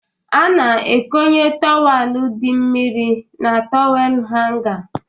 A na-ekónyé tọwelu dị mmiri na tọwel hanga